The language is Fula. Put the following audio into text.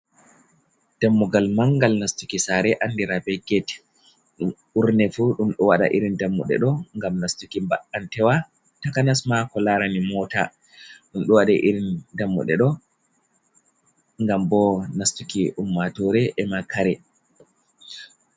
Dammugal mangal nastuki sare andira be get, burne fu dumdo wada irin dammude do gam nastuki ba’antewa, takanasma ko larani mota, dum do waɗa irin dammuɗe ɗo ngam bo nastuki ummatore e ma kare.